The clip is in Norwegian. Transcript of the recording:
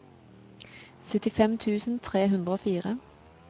syttifem tusen tre hundre og fire